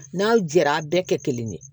N'aw jɛra a bɛɛ kɛ kelen ye